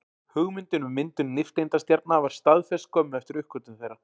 Hugmyndin um myndun nifteindastjarna var staðfest skömmu eftir uppgötvun þeirra.